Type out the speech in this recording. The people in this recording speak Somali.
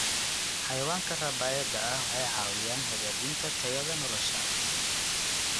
Xayawaanka rabaayada ah waxay caawiyaan hagaajinta tayada nolosha.